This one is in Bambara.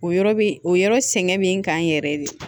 O yɔrɔ bi o yɔrɔ sɛgɛn bɛ n kan yɛrɛ de